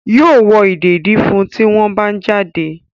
Yóò wọ ìdèdí fún un tí wọ́n bá ń jáde.